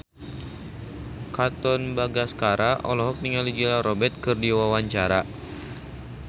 Katon Bagaskara olohok ningali Julia Robert keur diwawancara